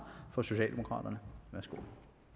for socialdemokraterne værsgo